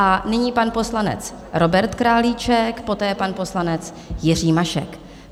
A nyní pan poslanec Robert Králíček, poté pan poslanec Jiří Mašek.